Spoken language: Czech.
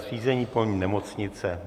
Zřízení polní nemocnice.